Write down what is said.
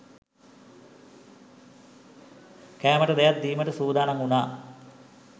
කෑමට දෙයක් දීමට සූදානම් වුණා